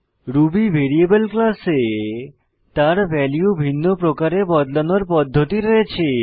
Ruby variable ক্লাসে তার value ভিন্ন প্রকারে বদলানোর পদ্ধতি রয়েছে